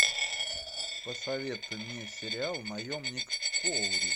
посоветуй мне сериал наемник коури